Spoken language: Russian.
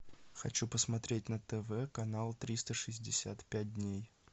хочу посмотреть на тв канал триста шестьдесят пять дней